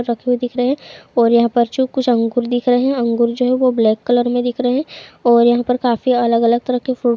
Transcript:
रखे हुए दिख रहे हैं और यहाँ पर जो कुछ अंगूर दिख रहे हैं अंगूर जो हैं वो ब्लैक कलर में दिख रहे हैं और यहाँ पर काफ़ी अलग-अलग तरह के फ्रूट --